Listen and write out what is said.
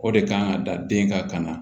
O de kan ka dan den ka kan na